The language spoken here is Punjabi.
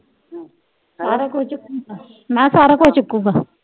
ਸਾਰਾ ਕੁਛ ਹੀ ਚੁੱਕੇਗਾ ਮੈਂ ਕਿਹਾ ਸਾਰਾ ਕੁਛ ਚੁੱਕੇਗਾ।